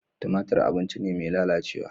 Tumatir abinci ne mai lalacewa.